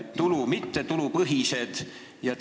Nad on mittetulupõhised.